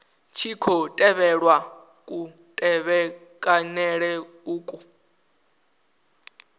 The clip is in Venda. tshi khou tevhelwa kutevhekanele uku